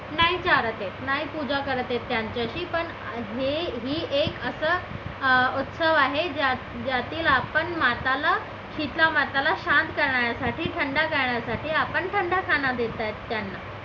नाही चारत आहे नाही पूजा करता येत त्यांची शी पण ही हे एक अशी उत्सव आहे की ज्यात जातील आपण माताला शीतला माताला शांत करण्यासाठी थंड करण्यासाठी आपण थंड खाना देत आहे त्यांना